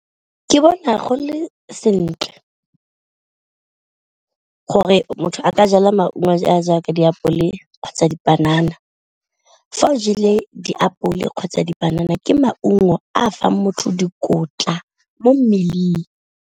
Ke bona go le sentle gore motho a ka jala maungo a a jaaka diapole kgotsa dipanana, fa o jele diapole kgotsa dipanana ke maungo a fang motho dikotla mo mmeleng.